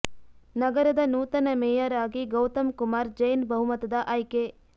ನಗರದ ನೂತನ ಮೇಯರ್ ಆಗಿ ಗೌತಮ್ ಕುಮಾರ್ ಜೈನ್ ಬಹುಮತದ ಆಯ್ಕೆ